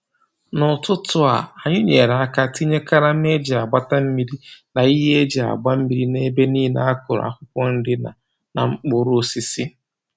N'ụtụtụ a, anyị nyere aka tinye karama e ji agbata mmiri na ihe ndị e ji agba mmiri n'ebe nile a kụrụ akwụkwọ nri na na mkpụrụosisi